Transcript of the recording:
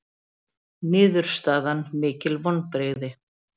Niðurstaðan mikil vonbrigði